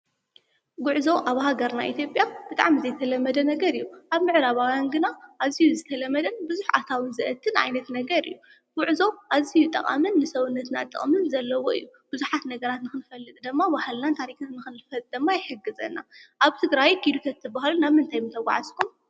ጉዕዞ ኣብ ሃገርና ኢትዮጰያ ብጣዕሚ ዘይተለመደ ነገር እዩ፡፡ ኣብ ምዕራባውያን ግና ኣዝዩ ዝተለመደን ብዝሕ ኣታዊ ዘእቱን ዓይነት ነገር እዩ፡፡ ጉዕዞ ኣዝዩ ጠቓምን ንሰዉነትናን ጥቕምን ዘለዎ እዩ፡፡ ብዙሓት ነገራት ንክንፈልጥ ድማ ባህልናን ታሪክናን ድማ ይሕግዘና፡፡ ኣብ ትግራይ ኪዱ ተትባሃሉ ናብ ምንታይ ምተጋዓዝኩም ?